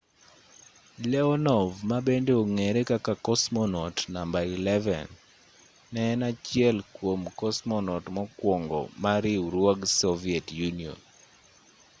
leonov ma bende ong'ere kaka cosmonaut namba 11 ne en achiel kwom cosmonaut mokwongo mag riwruog soviet union